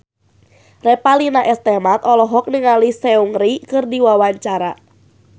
Revalina S. Temat olohok ningali Seungri keur diwawancara